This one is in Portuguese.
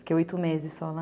Fiquei oito meses só lá.